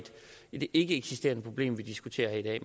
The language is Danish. et ikkeeksisterende problem vi diskuterer her i